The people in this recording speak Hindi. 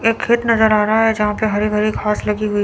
एक खेत नजर आ रहा है यहां पे हरी भरी घास लगी हुई--